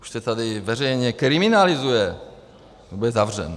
Už se tady veřejně kriminalizuje, kdo bude zavřen.